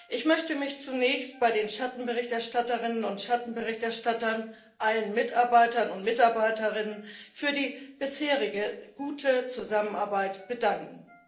Ich möchte mich zunächst bei den Schattenberichterstatterinnen und Schattenberichterstattern, bei allen Mitarbeitern und Mitarbeiterinnen für die bisherige gute Zusammenarbeit bedanken.